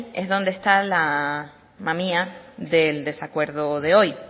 es donde está la mamia del desacuerdo de hoy